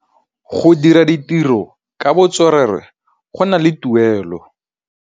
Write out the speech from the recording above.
Go dira ditirô ka botswerere go na le tuelô.